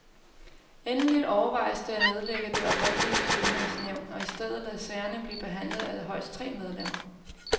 Endeligt overvejes det at nedlægge det oprindelige syvmandsnævn og i stedet lade sagerne blive behandlet af højst tre medlemmer.